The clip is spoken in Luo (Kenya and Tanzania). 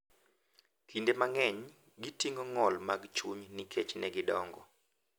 Kinde mang’eny, giting’o ng’ol mag chuny nikech ne gidongo